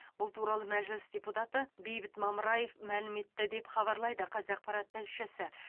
бұл туралы мәжіліс депутаты бейбіт мамыраев мәлім етті деп хабарлайды қазақпарат тілшісі